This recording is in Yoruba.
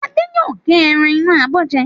Adé yóò gé ẹran inú abọ́ jẹ.